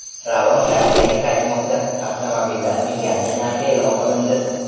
Ravon Rossiyaga qaytmoqda: Avtomobillarning yangi narxi e’lon qilindi.